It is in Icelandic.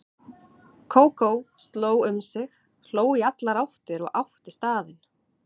Kókó sló um sig, hló í allar áttir og átti staðinn.